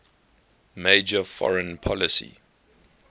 major foreign policy